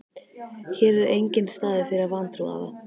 Hér er enginn staður fyrir vantrúaða.